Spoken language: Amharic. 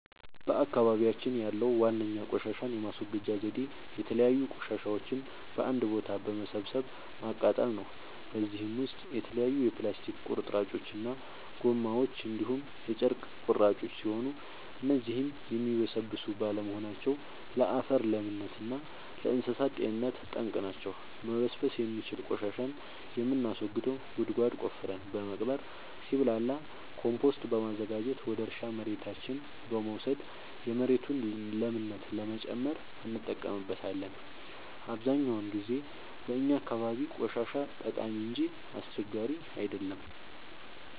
በአካባቢያችን ያለዉ ዋነኛ ቆሻሻን የማስወገጃ ዘዴ የተለያዩ ቆሻሻዎችን በአንድ ቦታ በመሰብሰብ ማቃጠል ነው። በዚህም ውስጥ የተለያዩ የፕላስቲክ ቁርጥራጮች እና ጎማዎች እንዲሁም የጨርቅ ቁራጮች ሲሆኑ እነዚህም የሚበሰብሱ ባለመሆናቸው ለአፈር ለምነት እና ለእንሳሳት ጤንነት ጠንቅ ናቸው። መበስበስ የሚችል ቆሻሻን የምናስወግደው ጉድጓድ ቆፍረን በመቅበር ሲብላላ ኮምቶስት በማዘጋጀት ወደ እርሻ መሬታችን በመውሰድ የመሬቱን ለምነት ለመጨመር እንጠቀምበታለን። አብዛኛውን ጊዜ በእኛ አካባቢ ቆሻሻ ጠቃሚ እንጂ አስቸጋሪ አይደለም።